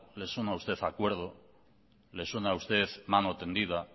le suena a usted acuerdo le suena a usted mano tendida